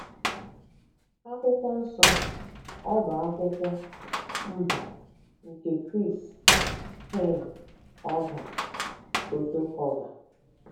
Akwụkwọ Nsọ: Ọ́bá Akwụkwọ Mba nke Griis; Quiin Ọọga: Foto Culver